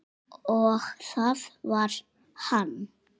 Og það var hann.